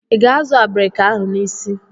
Ị ga-azụ abrika ahụ n'isi?